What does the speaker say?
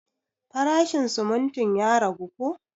Farashin sumuntin ya ragu ko?